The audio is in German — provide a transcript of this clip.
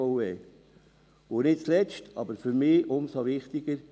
und nicht zuletzt, aber für mich umso wichtiger;